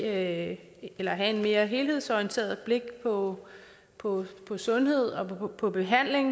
at have et mere helhedsorienteret blik på på sundhed og på behandling